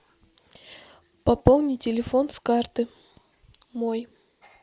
пополни телефон с карты мой